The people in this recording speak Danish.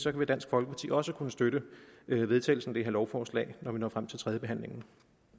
at dansk folkeparti også vil kunne støtte vedtagelsen af det her lovforslag når vi når frem til tredjebehandlingen